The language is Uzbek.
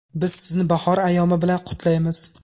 Biz sizni bahor ayyomi bilan qutlaymiz!